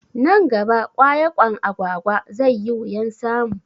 Nan gaba ƙwayaƙwan Agwagwa zai yi wuyan samu